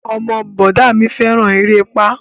Ọmọ bọ̀dá a mi fẹ́ràn erépá